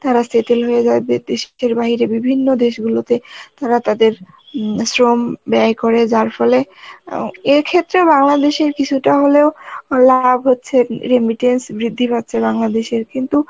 তারা settle হয়ে যায় দেশের বাহিরে বিভিন্ন দেশগুলোতে তারা তাদের উম শ্রম ব্যয় করে যার ফলে অ্যাঁ এক্ষেত্রে বাংলাদেশের কিছুটা হলেও লাভ হচ্ছে, remittance বৃদ্ধি পাচ্ছে বাংলাদেশের কিন্তু